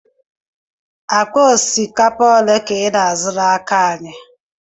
Akpa osikapa ole ka ị na-azụ n'aka anyị?